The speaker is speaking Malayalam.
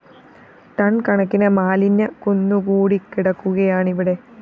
ടൺ കണക്കിന് മാലിന്യ കുന്നുകൂടിക്കിടക്കുകയാണിവിടെ